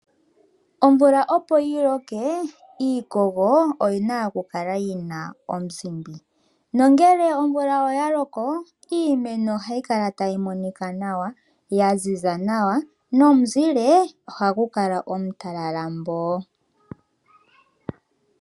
Omvula opo yi loke iikogo oyi na okukala yina omuzimbi. Omvula ngele ya loko iimeno ohayi kala tayi monika nawa ya ziza nawa nomu zile oha gu kala omu talala mboo.